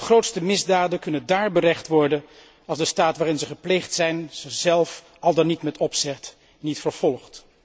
De grootste misdaden kunnen daar berecht worden als de staat waarin ze gepleegd zijn ze zelf, al dan niet met opzet, niet vervolgt.